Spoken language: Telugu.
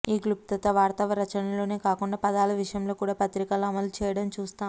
ఈ క్లుప్తత వార్తారచనలోనే కాకుండా పదాల విషయంలో కూడా పత్రికలు అమలు చేయడం చూస్తాం